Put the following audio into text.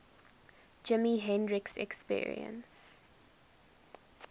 jimi hendrix experience